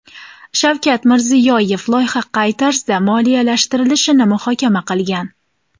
Shavkat Mirziyoyev loyiha qay tarzda moliyalashtirilishini muhokama qilgan.